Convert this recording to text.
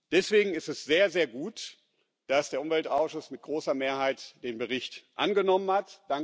Deswegen ist es sehr, sehr gut, dass der Umweltausschuss mit großer Mehrheit den Bericht angenommen hat.